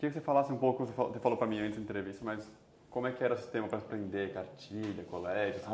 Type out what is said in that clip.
Queria que você falasse um pouco, você falou falou para mim antes da entrevista, mas como é que era o sistema para aprender cartilha, colégio?